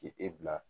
K'e e bila